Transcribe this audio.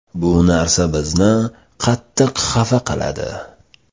Bu narsa bizni qattiq xafa qiladi.